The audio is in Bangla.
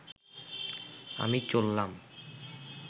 আমি চললাম